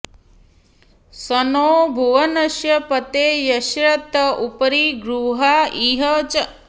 सनो॑ भुवनस्य पते॒ यस्य॑ त उपरि॑ गृ॒हा इ॒ह च॑